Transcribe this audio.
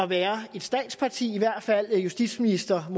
være et statsparti i hvert fald justitsministeren